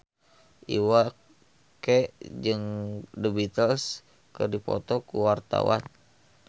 Iwa K jeung The Beatles keur dipoto ku wartawan